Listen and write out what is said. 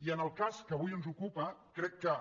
i en el cas que avui ens ocupa crec que